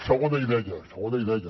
segona idea segona idea